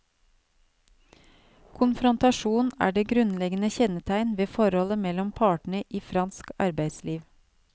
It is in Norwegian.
Konfrontasjon er det grunnleggende kjennetegn ved forholdet mellom partene i fransk arbeidsliv.